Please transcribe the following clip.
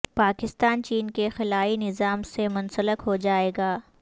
پاکستان چین کے خلائی نظام سے منسلک ہو جائے گا